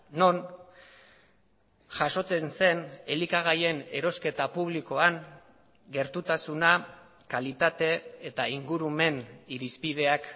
non jasotzen zen elikagaien erosketa publikoan gertutasuna kalitate eta ingurumen irizpideak